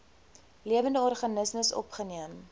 lewende organismes opgeneem